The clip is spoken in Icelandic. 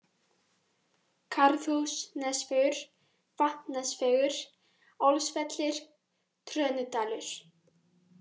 Garðhús Nesvegur, Vatnsnesvegur, Álsvellir, Trönudalur